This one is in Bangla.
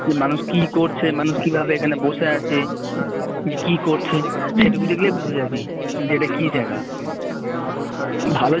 যে মানুষ কি করছে যে মানুষ কিভাবে এখানে বসে আছে কি করছে সেটুকু দেখলেই বুঝে যাবি যে এটা কি জায়গা ভালো